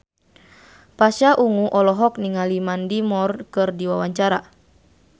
Pasha Ungu olohok ningali Mandy Moore keur diwawancara